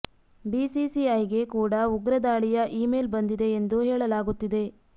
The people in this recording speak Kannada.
ಬಿಸಿಸಿಐ ಗೆ ಕೂಡ ಉಗ್ರ ದಾಳಿಯ ಇಮೇಲ್ ಬಂದಿದೆ ಎಂದು ಹೇಳಲಾಗುತ್ತಿದೆ